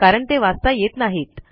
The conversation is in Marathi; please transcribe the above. कारण ते वाचता येत नाहीत